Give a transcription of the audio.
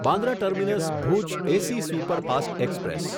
Bandra terminus Bhuj AC superfast express